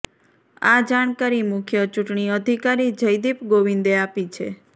આ જાણકારી મુખ્ય ચૂંટણી અધિકારી જયદીપ ગોવિંદે આપી છે